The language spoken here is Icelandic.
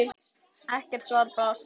Ekkert svar barst.